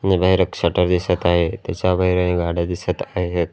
आणि बाहेर एक शटर दिसत आहे त्याच्या बाहेर ही गाड्या दिसत आहेत.